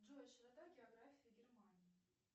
джой широта географии германии